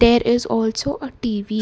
there is also a T_V.